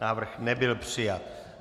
Návrh nebyl přijat.